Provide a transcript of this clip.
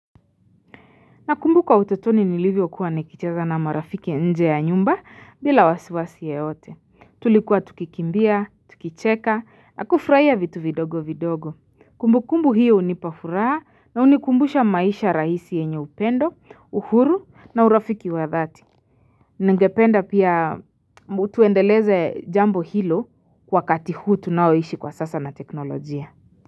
Nakumbuka utotoni nilivyokuwa nikicheza na marafiki nje ya nyumba bila wasiwasi yoyote. Tulikuwa tukikimbia, tukicheka, na kufurahia vitu vidogovidogo. Kumbukumbu hiyo hunipa furaha na hunikumbusha maisha rahisi yenye upendo, uhuru na urafiki wadhati. Ningependa pia tuendeleze jambo hilo wakati huu tunaoishi kwa sasa na teknolojia.